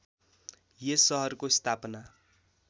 यस सहरको स्‍थापना